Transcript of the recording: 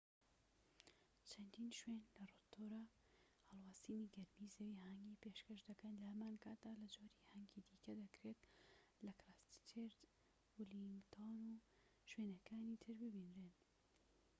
چەندین شوێن لە ڕۆتۆرا هەڵواسینی گەرمی زەوی هانگی پێشکەش دەکەن لە هەمان کاتدا لە جۆری هانگی دیکە دەکرێت لە کرایستچێرچ و ولینگتۆن و شوێنەکانی تر ببینرێن